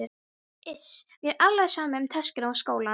Iss, mér er alveg sama um töskuna og skólann